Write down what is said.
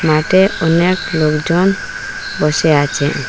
ম্যাটে অনেক লোকজন বসে আছেন।